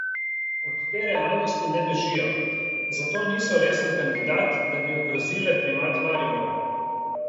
Od te realnosti ne bežijo, zato niso resen kandidat, da bi ogrozile primat Maribora.